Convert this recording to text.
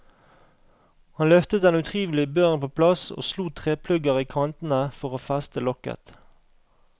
Han løftet den utrivelige børen på plass, og slo treplugger i kantene for å feste lokket.